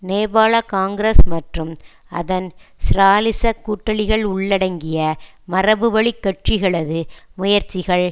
நேபாள காங்கிரஸ் மற்றும் அதன் ஸ்ராலிச கூட்டாளிகள் உள்ளடங்கிய மரபுவழிக் கட்சிகளது முயற்சிகள்